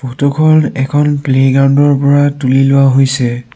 Photo খন এখন playground ৰ পৰা তুলি লোৱা হৈছে।